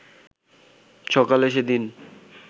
সকালে সেদিন